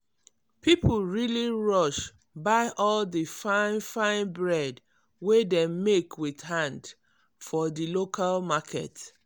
people really rush buy all the fine fine bread wey dem bake with hand for di local market.